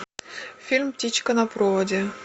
фильм птичка на проводе